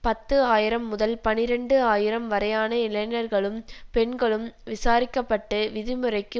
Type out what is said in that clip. பத்து ஆயிரம் முதல் பனிரண்டு ஆயிரம் வரையான இளைஞர்களும் பெண்களும் விசாரிக்க பட்டு விதிமுறைக்கு